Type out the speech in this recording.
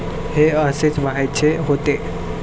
हे असेच व्हायचे होते